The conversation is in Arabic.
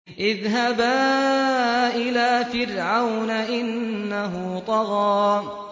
اذْهَبَا إِلَىٰ فِرْعَوْنَ إِنَّهُ طَغَىٰ